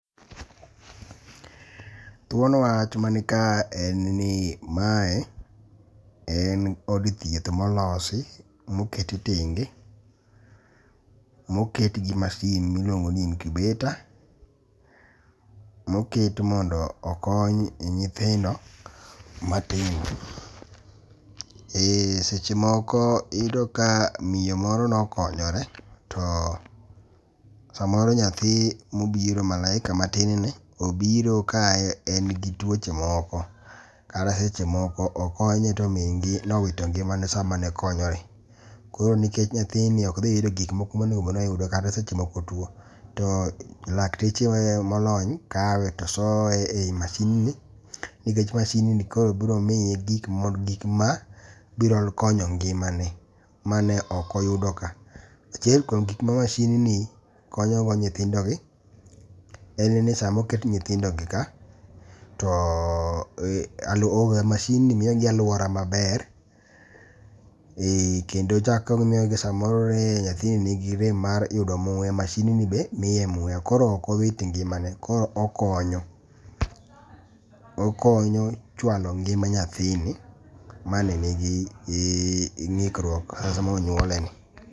Thuon wach manika en ni mae en od thieth molosi moket tenge. Moket gi masin miluongo ni incubater. Moket mondo okony nyithindo matindo. E seche moko iyudo ka miyo moro nokonyore to samoro nyathi mobiro malaika matin ni obiro ka en gi tuoche moko kata seche moko okonye to mingi nowito ngimane same ne okonyore. Koro nikech nyathini ok dhi yudo gik moko monego bed ni oyudo kata seche moko otuo, to lakteche molony kawe tosoye e yi mashin ni. Nikech mashin ni koro biro miye gik ma biro konyo ngimane mane ok oyudo ka. Achiel kuom gik ma mashin ni konyogo nyithindo gi. En ni samoket nyithindo gi ka to masin ni miyogi aluora maber. Kendo chako miyogi samoro ne nyathini ni gi rem mar yudo muya masin ni be miye muya koro ok wit ngimane. Kooro okonyo. Okonyo chwalo ngima nyathini mane nigi ng'ukruok sama ne onyuole ni.